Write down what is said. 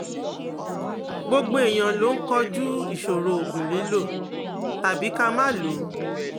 gbogbo èèyàn ló ń koju isoro oogun lilo tàbí ka maa loo